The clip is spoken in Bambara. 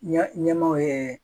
Ɲɛmaaw ye